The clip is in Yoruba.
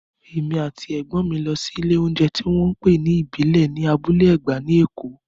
Èmi àti Ẹ̀gbọ́n mi lọ sí ilé oúnjẹ tí wọ́n ń pè ní ìbílẹ̀ ní Abúlé Ẹ̀gbá ní Èkó